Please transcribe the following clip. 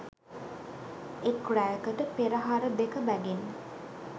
එක් රැයකට පෙරහර දෙක බැගින්